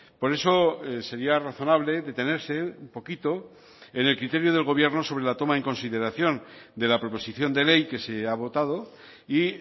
por eso sería razonable detenerse un poquito en el criterio del gobierno sobre la toma en consideración de la proposición de ley que se ha votado y